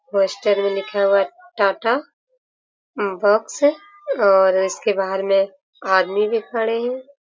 Poster में लिखा हुआ है टाटा बॉक्स और इसके बाहर में आदमी भी खड़े है ।